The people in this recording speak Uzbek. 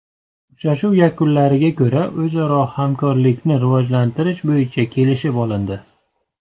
Uchrashuv yakunlariga ko‘ra o‘zaro hamkorlikni rivojlantirish bo‘yicha kelishib olindi.